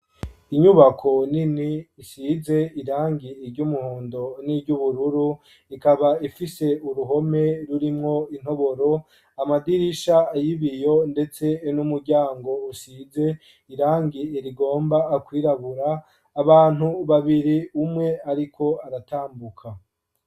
Inyubako nini isize irangi iryoumuhondo n'iryo ubururu ikaba ifise uruhome rurimwo intoboro amadirisha ayibiyo, ndetse n'umuryango usize irangi irigomba akwirabura abantu babiri umwe, ariko aratambuka.